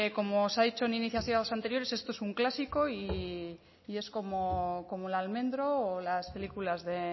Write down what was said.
como se ha dicho en iniciativas anteriores esto es un clásico y es como el almendro o las películas de